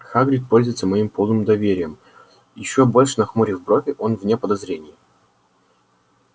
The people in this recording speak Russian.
хагрид пользуется моим полным доверием ещё больше нахмурив брови он вне подозрений